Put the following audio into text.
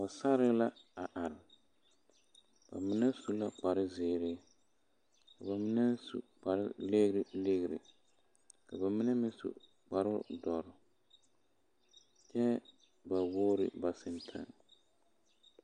Pɔgesare la a are ba mine su la kparezeere ba mine su kpare legrelegre ka na mine meŋ su kpare bondɔre kyɛ bawogri ba sentaa.